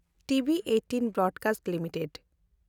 TV18 broadcast limited